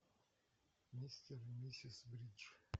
мистер и миссис бридж